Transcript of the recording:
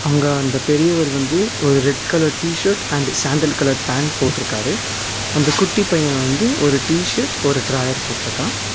அங்க அந்த பெரியவர் வந்து ஒரு red colour T-shirt and sandal colour pant போட்ருக்காரு அந்த குட்டி பைய வந்து ஒரு டிஷர்ட் ஒரு டிராயர் போட்ருக்கா.